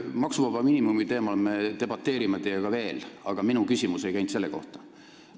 Maksuvaba miinimumi teemal me debateerime teiega veel, aga minu küsimus ei käinud selle kohta.